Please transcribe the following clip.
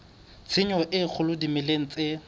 tshenyo e kgolo dimeleng tse